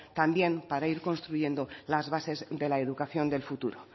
también para ir construyendo las bases de la educación del futuro